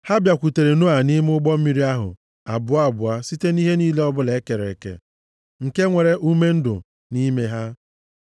Ha bịakwutere Noa nʼime ụgbọ mmiri ahụ, abụọ abụọ site nʼihe niile ọbụla e kere eke, nke nwere ume ndụ nʼime ha.